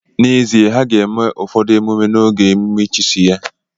N'ezie, ha ga-eme ụfọdụ ememe n'oge emume ịchịisi ya.